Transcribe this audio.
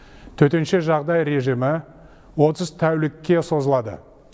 төтенше жағдай режимі отыз тәулікке созылады